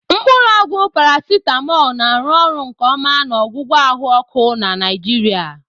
Mkpuru ogwu Paracetamol na-arụ ọrụ nke ọma na ọgwụgwọ ahụ ọkụ na Nigeria.